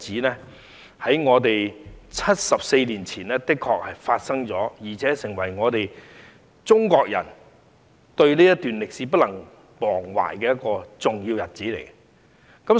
在74年前的這一天，確實發生了作為中國人所不能忘懷的重要歷史事蹟。